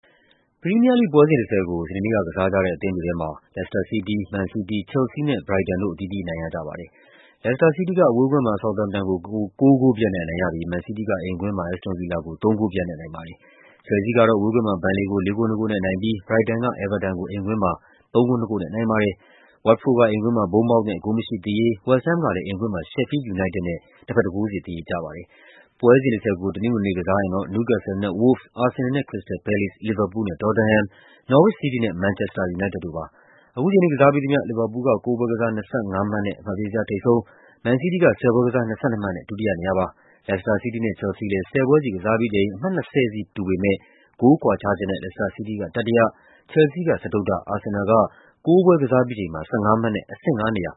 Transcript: ပရီးမီးယားလိဂ် ပွဲစဉ် ၁၀ ကို စနေနေ့က ကစားကြတဲ့ အသင်းတွေထဲမှာ လက်စတာ စီးတီး၊ မန်စီးတီး၊ ချယ်လ်ဆီးနဲ့ ဘရိုက်တန် တို့ အသီးသီးအနိုင်ရကြပါတယ်။ လက်စတာစီးတီးက အဝေးကွင်းမှာ ဆောက်သမ်ပ်တန်ကို ၉ ဂိုးပြတ်နဲ့ အနိုင်ရပြီး မန်စီးတီးက အိမ်ကွင်းမှာ အက်စ်တွန် ဗီလာကို ၃ ဂိုးပြတ်နဲ့ အနိုင်ရပါတယ်။ ချယ်လ်ဆီးကတော့ အဝေးကွင်းမှာ ဘန်လေကို ၄ ဂိုး ၂ ဂိုးနဲ့ အနိုင်ရပြီး ဘရိုက်တန်က အဲဗာတန်ကို အိမ်ကွင်းမှာ ၃ ဂိုး ၂ ဂိုးနဲ့ အနိုင်ရပါတယ်။ ဝတ်တ်ဖို့ဒ်က အိမ်ကွင်းမှာ ဘုန်းမောက်သ်နဲ့ ဂိုးမရှိသရေကျပြီး ဝက်စ်ဟမ်းမ်ကလည်း အိမ်ကွင်းမှာ ရှက်ဖီးလ်ဒ် ယူနိုက်တက်နဲ့ ၁ ဂိုးစီ သရေကျပါတယ်။ ပွဲစဉ် ၁၀ ကို တနင်္ဂနွေနေ့မှာ ကစားကြရမှာကတော့ နယူးကက်ဆယ်လ်နဲ့ ဝို့လ်ဗ်စ်၊ အာဆင်နယ်လ်နဲ့ ခရစ္စတယ်လ် ပဲလေ့စ်၊ လီဗာပူးလ်နဲ့ တော်တမ်ဟန်၊ နော်ဝစ် စီးတီးနဲ့ မန်ချက်စတာ ယူနိုက်တက်တို့ဖြစ်ပါတယ်။ အခုချိန်ထိ ကစားပြီးသမျှမှာတော့ လီဗာပူးလ်က ၉ ပွဲကစား ၂၅ မှတ်နဲ့ အမှတ်ပေးဇယား ထိပ်ဆုံးမှာ ဆက်ရှိနေပြီး မန်စီးတီးက ၁၀ ပွဲကစား ၂၂ မှတ်နဲ့ ဒုတိယလိုက်နေပါတယ်။ လက်စတာစီးတီးနဲ့ ချယ်လ်ဆီးတို့လည်း ၁၀ ပွဲစီကစားပြီးချိန်မှာ အမှတ် ၂၀ စီ ရထားပေ မယ့် ဂိုးကွာခြားချက်နဲ့ လက်စတာစီးတီးက တတိယ၊ ချယ်လ်ဆီးက စတုတ္ထ၊ အာဆင်နယ်လ်က ၉ ပွဲကစားပြီးချိန်မှာ ၁၅ မှတ်နဲ့ အဆင့် ၅ နေရာ